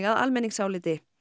að almenningsáliti